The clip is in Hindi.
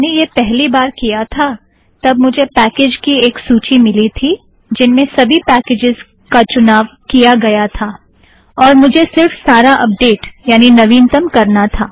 जब मैंने यह पहली बार किया था तब मुझे पैकेज़ की एक सूची मिली थी जिनमें सबी पैकेज़ का चुनाव किया गया था और मुझे सिर्फ सारा अपडेट यानि नवीनतम करना था